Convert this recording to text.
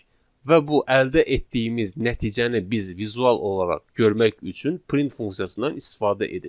Və bu əldə etdiyimiz nəticəni biz vizual olaraq görmək üçün print funksiyasından istifadə edirik.